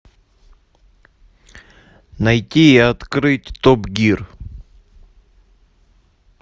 найти и открыть топ гир